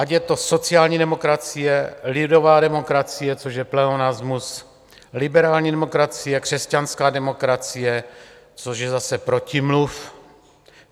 Ať je to sociální demokracie, lidová demokracie, což je pleonasmus, liberální demokracie, křesťanská demokracie, což je zase protimluv.